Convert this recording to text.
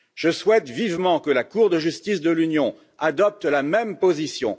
Je souhaite vivement que la Cour de justice de l'Union adopte la même position.